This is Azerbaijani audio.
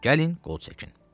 Gəlin qol çəkin.